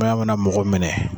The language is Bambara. Sumaya mana mɔgɔ minɛ